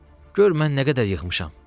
Gör mən nə qədər yığmışam.